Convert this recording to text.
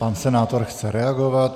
Pan senátor chce reagovat.